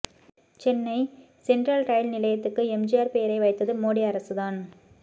Chennai central rail நிலையத்துக்கு எம்ஜிஆர் பெயரை வைத்தது மோடி அரசு தான்